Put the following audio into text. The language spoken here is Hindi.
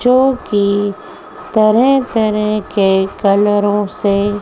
जो की तरह तरह के कलरों से--